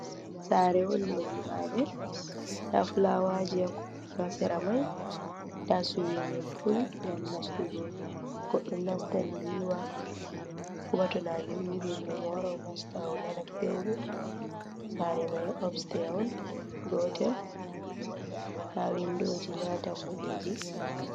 Sare on ɗo nyiɓade nda fulawaji ha sera mai, nda suwi min pul ngam nastugo goɗɗo nastan nyiwa heɓa to nage ɗuɗɗi ɗum o wara o nasta o nane pewɗum, sare mai obste on gotel, nda windoji nda dammuɗeji.